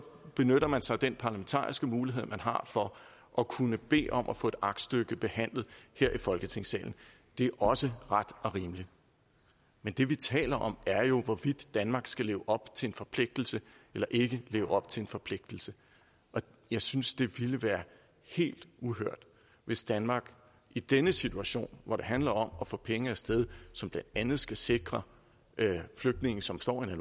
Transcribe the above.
benytter man sig af den parlamentariske mulighed man har for at kunne bede om at få et aktstykke behandlet her i folketingssalen det er også ret og rimeligt men det vi taler om er jo hvorvidt danmark skal leve op til en forpligtelse eller ikke leve op til en forpligtelse og jeg synes det ville være helt uhørt hvis danmark i denne situation hvor det handler om at få penge af sted som blandt andet skal sikre flygtninge som står i